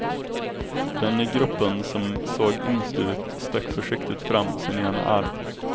Den i gruppen som såg yngst ut stack försiktigt fram sin ena arm.